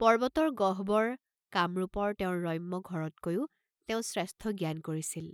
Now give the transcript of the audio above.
পৰ্ব্বতৰ গহ্বৰ, কামৰূপৰ তেওঁৰ ৰম্য ঘৰতকৈও তেওঁ শ্ৰেষ্ঠ জ্ঞান কৰিছিল।